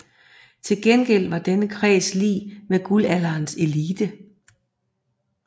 Til gengæld var denne kreds lig med Guldalderens elite